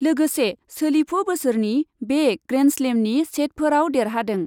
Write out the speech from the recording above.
लोगोसे सोलिफु बोसोरनि बे ग्रेन्डस्लेमनि सेटफोराव देरहादों ।